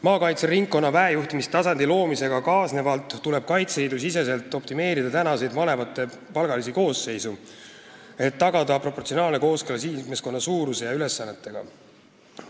Maakaitseringkonna vahejuhtimistasandi loomisega kaasnevalt tuleb Kaitseliidu sees optimeerida malevate praeguseid palgalisi koosseise, et tagada proportsionaalne kooskõla liikmeskonna suuruse ja ülesannetega.